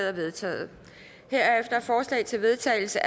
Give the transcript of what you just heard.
er vedtaget herefter er forslag til vedtagelse